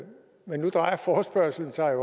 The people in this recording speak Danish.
men nu drejer forespørgslen sig